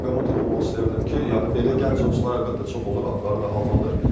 Bir məqama toxunmaq istəyərdim ki, yəni belə gənc oyunçular əlbəttə çox olur, adları da hallanır.